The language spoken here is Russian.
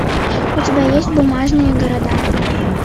у тебя есть бумажные города